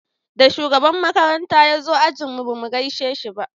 Da shugaban makaranta ya zo ajin mu ba mu gaishe shi ba